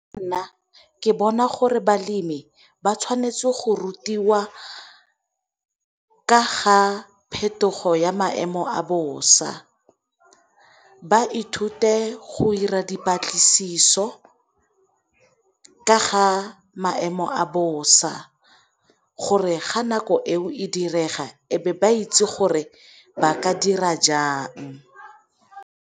Nna ke bona gore balemi ba tshwanetse go rutiwa ka ga phetogo ya maemo a bosa, ba ithute go 'ira dipatlisiso ka ga maemo a bosa gore ga nako eo e direga ebe ba itse gore ba ka dira jang.